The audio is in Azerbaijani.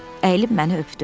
Əyilib məni öpdü.